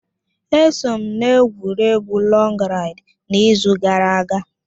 Eso m n'egwuregwu lọg raịd n'izu gara aga